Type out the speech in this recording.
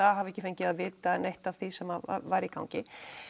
að hafa ekki fengið að vita neitt af því sem væri í gangi